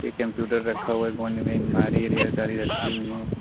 Computer रखा हुआ है कोने में अलमारी ढेर सारी रखी हुई हैं।